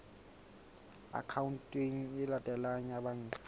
akhaonteng e latelang ya banka